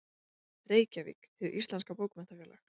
Reykjavík: Hið Íslenska Bókmenntafélag.